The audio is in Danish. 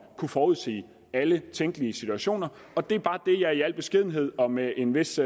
kunne forudsige alle tænkelige situationer og det er bare det jeg i al beskedenhed og med en vis